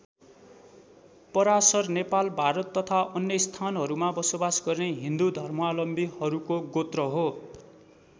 पराशर नेपाल भारत तथा अन्य स्थानहरूमा बसोबास गर्ने हिन्दू धर्मावलम्बीहरूको गोत्र हो।